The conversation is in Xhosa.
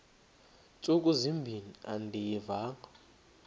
ntsuku zimbin andiyivanga